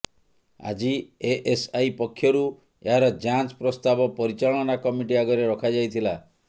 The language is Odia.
ଆଜି ଏଏସଆଇ ପକ୍ଷରୁ ଏହାର ଯାଞ୍ଚ ପ୍ରସ୍ତାବ ପରିଚାଳନା କମିଟି ଆଗରେ ରଖାଯାଇଥିଲା